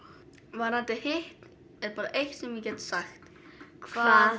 varðandi hitt er bara eitt sem ég get sagt hvað